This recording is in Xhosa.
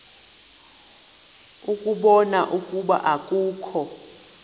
ukubona ukuba akukho